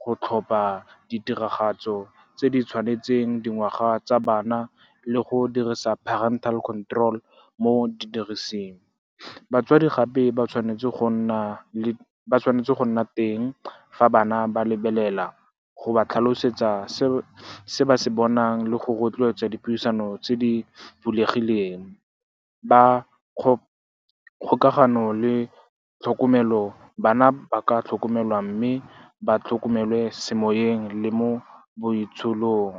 go tlhopha ditiragatso tse di tshwanetseng dingwaga tsa bana le go dirisa parental control mo didirisweng. Batswadi gape ba tshwanetse go nna teng fa bana ba lebelela, go ba tlhalosetsa se ba se bonang le go rotloetsa dipuisano tse di bulegileng. Ba kgokagano le tlhokomelo, bana ba ka tlhokomelwa mme ba tlhokomele semoyeng le mo boitsholong.